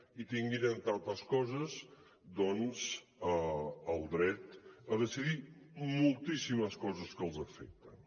i tinguin entre altres coses doncs el dret a decidir moltíssimes coses que els afecten